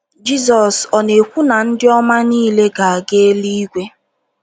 Jizọs ọ̀ na - ekwu na ndị ọma niile ga - aga eluigwe?